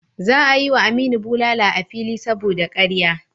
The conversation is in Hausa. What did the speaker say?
Za a yi wa Aminu bulala a fili saboda karya.